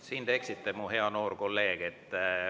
Siin te eksite, mu hea noor kolleeg.